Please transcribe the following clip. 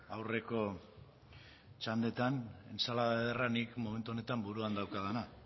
aurreko txandetan entsalada ederra nik momentu honetan buruan daukadana